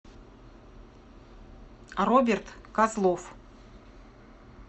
роберт козлов